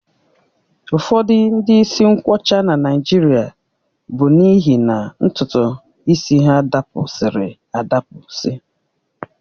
Ụfọdụ ndị isi nkwọcha na Naịjirịa bụ n'ihi na ntutu isi ha dapụsiri adapụsi